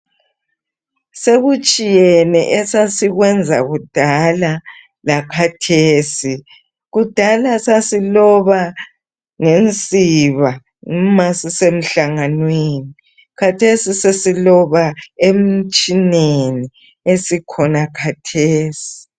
Sekutshiyene esasikwenza kudala lakhathesi, kudala sasiloba ngensiba ma sisemhlanganweni, khathesi sesiloba emtshineni esikhona khathesi.